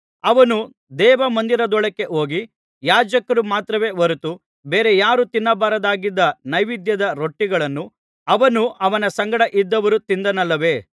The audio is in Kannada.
ಅವನು ದೇವಮಂದಿರದೊಳಕ್ಕೆ ಹೋಗಿ ಯಾಜಕರು ಮಾತ್ರವೇ ಹೊರತು ಬೇರೆ ಯಾರು ತಿನ್ನಬಾರದಾಗಿದ್ದ ನೈವೇದ್ಯದ ರೊಟ್ಟಿಗಳನ್ನು ಅವನು ಅವನ ಸಂಗಡ ಇದ್ದವರು ತಿಂದನಲ್ಲವೇ